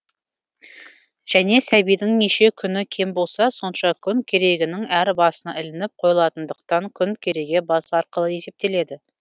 және сәбидің неше күні кем болса сонша күн керегенің әр басына ілініп қойылатындықтан күн кереге басы арқылы есептеледі